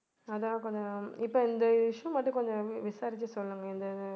அதான் கொஞ்சம் இப்ப இந்த issue மட்டும் கொஞ்சம் விசாரிச்சுட்டு சொல்லுங்க இந்த இது